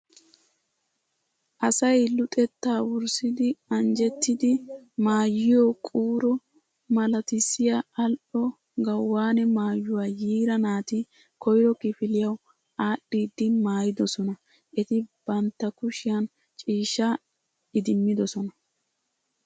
Asay luxettaa wurssidi anjjettiiddi maayiyo quuro malatissiya al"o gawune maayuwa yiira naati koyro kifiliyawu aadhdhiiddi maayidosona. Eti bantta kushiyan ciishshaa idimmidosona.